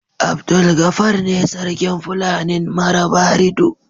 Abdulgafar ne sarkin Fulanin Marabarido.